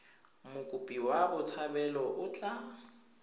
mokopi wa botshabelo o tla